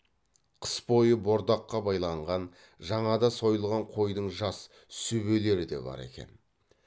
қыс бойы бордаққа байланған жаңада сойылған қойдың жас сүбелері де бар екен